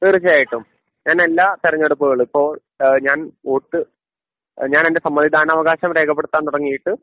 തീർച്ചയായിട്ടും ഞാൻ എല്ലാ തിരഞ്ഞെടുപ്പുകളും ഇപ്പൊ ഏഹ് ഞാൻ വോട്ട് ഞാൻ്റെ സമ്മതിദാന അവകാശം രേഖപ്പെടുത്താൻ തുടങ്ങിയിട്ട്